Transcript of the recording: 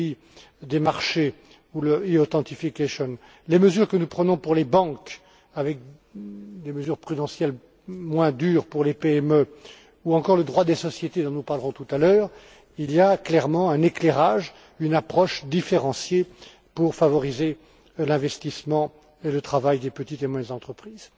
M. Kelly, des marchés ou le EU authentification les mesures que nous prenons pour les banques avec des mesures prudentielles moins dures pour les PME ou encore le droit des sociétés, dont nous parlerons tout à l'heure, il y a clairement un éclairage, une approche différenciée pour favoriser l'investissement et le travail des petites et moyennes entreprises.